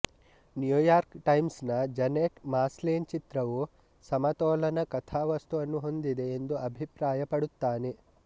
New York Times ನ Janet Maslin ಚಿತ್ರವು ಸಮತೋಲನ ಕಥಾವಸ್ತುವನ್ನು ಹೊಂದಿದೆ ಎಂದು ಅಭಿಪ್ರಾಯಪಡುತ್ತಾನೆ